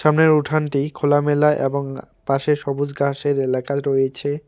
সামনের উঠানটি খোলামেলা এবং পাশে সবুজ গাসের এলাকা রয়েছে।